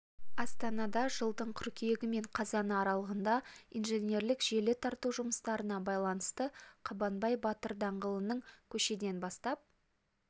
астанада жылдың қыркүйегі мен қазаны аралығында инженерлік желі тарту жұмыстарына байланысты қабанбай батыр даңғылының көшеден бастап